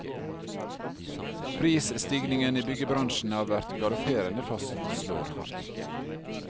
Prisstigningen i byggebransjen har vært galopperende, fastslår han.